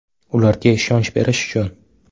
Ularga ishonch berish uchun!